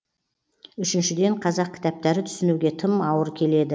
үшіншіден қазақ кітаптары түсінуге тым ауыр келеді